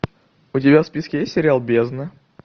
у тебя в списке есть сериал бездна